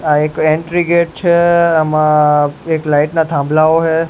આ એક entry gate છે એમાં એક લાઇટ ના થાંભલાઓ હે.